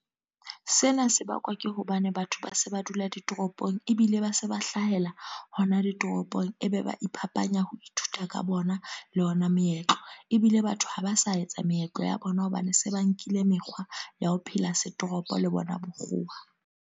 Sena se bakwa ke hobane batho ba se ba dula ditoropong. Ebile ba se ba hlahela hona ditoropong. E be ba iphapanya ho ithuta ka bona, le ona meetlo. Ebile batho ha ba sa etsa meetlo ya bona hobane se ba nkile mekgwa ya ho phela se toropo, le bona bokgowa.